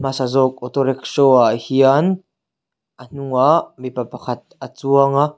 sa zawk auto rickshaw ah hian a hnungah mipa pakhat a chuang a.